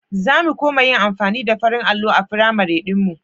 Za mu koma yin amfani da farin allon a firamar ɗinmu.